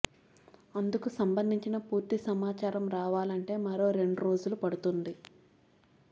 అందుకు సంబందించిన పూర్తి సమాచారం రావాలంటే మరో రెండు రోజులు పడుతుంది